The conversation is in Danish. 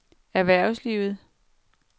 erhvervslivet